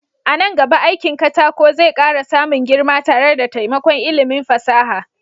A nan gaba aikin katako zai ƙara samun girma tare da taimakon ilimin fasaha.